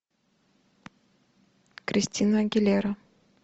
кристина агилера